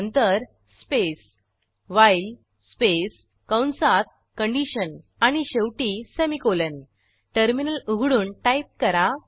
नंतर space while space कंसात condition आणि शेवटी सेमिकोलॉन टर्मिनल उघडून टाईप करा